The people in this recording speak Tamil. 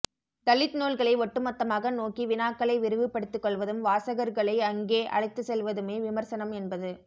தலித் நூல்களை ஒட்டுமொத்தமாக நோக்கி வினாக்களை விரிவுபடுத்திக்கொள்வதும் வாசகர்களை அங்கே அழைத்துச்செல்வதுமே விமர்சனம் என்பது